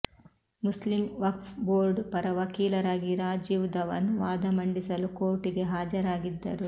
Muslim Waqf board ಪರ ವಕೀಲರಾಗಿ ರಾಜೀವ್ ಧವನ್ ವಾದ ಮಂಡಿಸಲು ಕೋರ್ಟ್ ಗೆ ಹಾಜರಾಗಿದ್ದರು